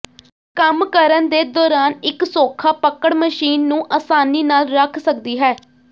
ਕੰਮ ਕਰਨ ਦੇ ਦੌਰਾਨ ਇੱਕ ਸੌਖਾ ਪਕੜ ਮਸ਼ੀਨ ਨੂੰ ਆਸਾਨੀ ਨਾਲ ਰੱਖ ਸਕਦੀ ਹੈ